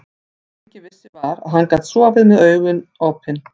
Það sem enginn vissi var, að hann gat sofið með OPIN AUGUN.